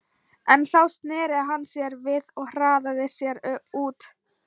En þá sneri hann sér við og hraðaði sér út.